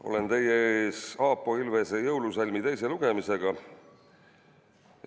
Olen teie ees Aapo Ilvese jõulusalmi teise lugemisega.